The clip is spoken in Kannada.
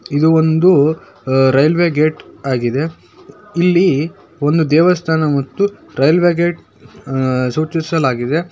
ಇದು ಒಂದು ಆಹ್ ರೈಲ್ವೇ ಗೇಟ್ ಆಗಿದೆ ಇಲ್ಲಿ ಒಂದು ದೇವಸ್ಥಾನ ಮತ್ತು ರೈಲ್ವೇ ಗೇಟ್ ಆಹ್ ಸೂಚಿಸಲಾಗಿದೆ.